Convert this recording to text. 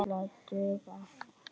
Hlið við hlið.